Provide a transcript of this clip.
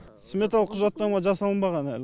сметалық құжаттама жасалынбаған әлі